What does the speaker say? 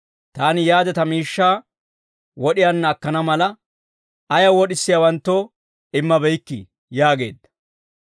taani yaade ta miishshaa wod'iyaanna akkana mala, ayaw wod'isiyaawanttoo immabeykkii?› yaageedda.